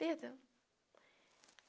Perdão.